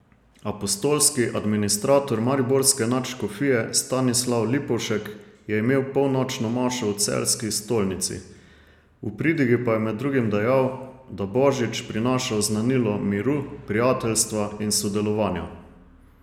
Apostolski administrator mariborske nadškofije Stanislav Lipovšek je imel polnočno mašo v celjski stolnici, v pridigi pa je med drugim dejal, da božič prinaša oznanilo miru, prijateljstva in sodelovanja.